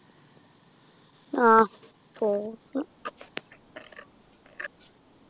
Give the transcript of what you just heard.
ആഹ് പോണം